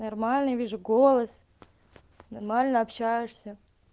нормальный вижу голос нормально общаешься